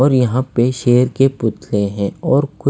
और यहां पे शेर के पुतले हैं और कु--